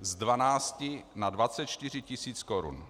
z 12 na 24 tisíc korun.